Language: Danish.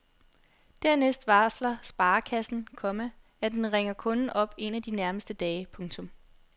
Dernæst varsler sparekassen, komma at den ringer kunden op en af de nærmeste dage. punktum